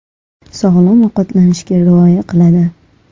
Sog‘lom ovqatlanishga rioya qiladi .